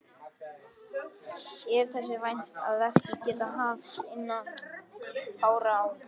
Er þess vænst að verkið geti hafist innan fárra ára.